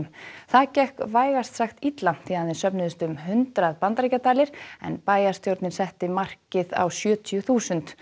það gekk vægast sagt illa því aðeins söfnuðust um hundrað bandaríkjadalir en bæjarstjórnin setti markið á sjötíu þúsund